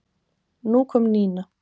Nú kom Nína.